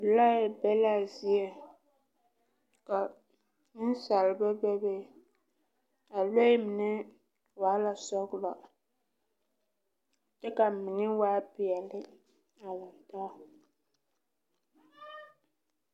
Lɔɛ be la a zieŋ, ka nensaalba be be. A lɔɛ mine waa la sɔgelɔ kyɛ ka mine waa peɛle a lantaa.